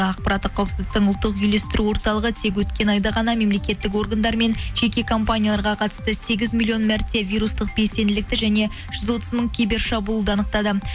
ақпараттық қауіпсіздіктің ұлттық үйлестіру орталығы тек өткен айда ғана мемлекеттік органдармен жеке компанияларға қатысты сегіз миллион мәрте вирустық белсенділікті және жүз отыз мың кибер шабуылды анықтады